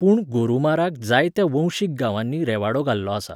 पूण गोरुमाराक जायत्या वंशीक गांवांनी रेवाडो घाल्लो आसा.